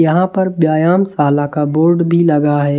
यहां पर व्यायाम शाला का बोर्ड भी लगा है।